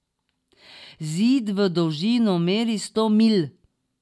Zid v dolžino meri sto milj.